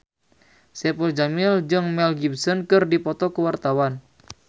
Saipul Jamil jeung Mel Gibson keur dipoto ku wartawan